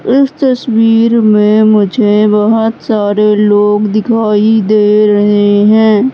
इस तस्वीर में मुझे बहोत सारे लोग दिखाई दे रहे हैं।